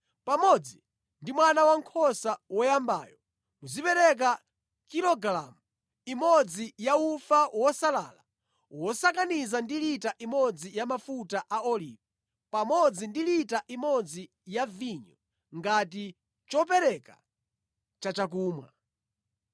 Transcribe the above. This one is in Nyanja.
Pamodzi ndi mwana wankhosa woyambayo, muzipereka kilogalamu imodzi ya ufa wosalala wosakaniza ndi lita imodzi ya mafuta a olivi pamodzi ndi lita imodzi ya vinyo ngati chopereka chachakumwa.